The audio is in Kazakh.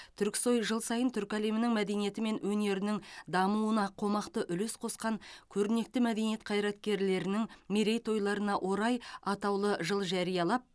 түрксой жыл сайын түркі әлемінің мәдениеті мен өнерінің дамуына қомақты үлес қосқан көрнекті мәдениет қайраткерлерінің мерейтойларына орай атаулы жыл жариялап